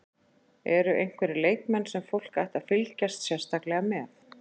En eru einhverjir leikmenn sem fólk ætti að fylgjast sérstaklega með?